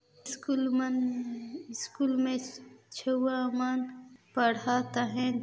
School मन school मे छुएय मन पड़त है।